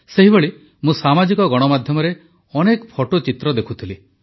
ସେହିଭଳି ମୁଁ ସାମାଜିକ ଗଣମାଧ୍ୟମରେ ଅନେକ ଫଟୋଚିତ୍ର ଦେଖୁଥିଲି